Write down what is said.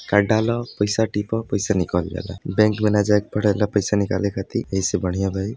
Card डालय पईसा टिपय पैसा निकाल जाला। बैंक मे न जाएके पड़ेला पैसा निकाले खातिर यही से बढ़िया बाटे ई।